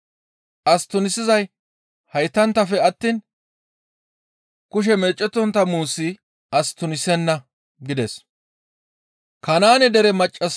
As tunisizay haytanttafe attiin kushe meecettontta muusi as tunisenna» gides.